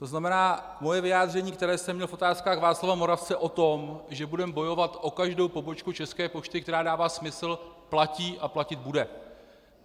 To znamená, moje vyjádření, které jsem měl v Otázkách Václava Moravce o tom, že budeme bojovat o každou pobočku České pošty, která dává smysl, platí a platit bude.